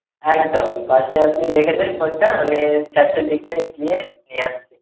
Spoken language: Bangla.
একদম পাশে আপনি রেখে দিন phone টা আমি চারটের দিকে গিয়ে নিয়ে আসছি।